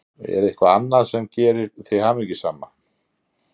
Eva: Er eitthvað annað sem gerir þig hamingjusama?